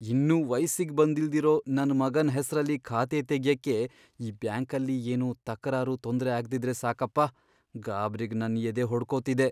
ಇನ್ನೂ ವಯ್ಸಿಗ್ ಬಂದಿಲ್ದಿರೋ ನನ್ ಮಗನ್ ಹೆಸ್ರಲ್ಲಿ ಖಾತೆ ತೆಗ್ಯಕ್ಕೆ ಈ ಬ್ಯಾಂಕಲ್ಲಿ ಏನೂ ತಕರಾರು, ತೊಂದ್ರೆ ಆಗ್ದಿದ್ರೆ ಸಾಕಪ್ಪ! ಗಾಬ್ರಿಗ್ ನನ್ ಎದೆ ಹೊಡ್ಕೊತಿದೆ.